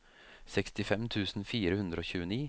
sekstifem tusen fire hundre og tjueni